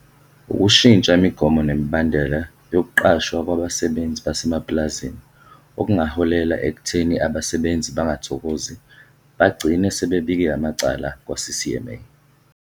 Ukushintsha imigomo nemibandela yokuqashwa kwabasebenzi basemapulazini okungaholela ekutheni abasebenzi bangathokozi bagcine sebebike amacala kwa-CCMA.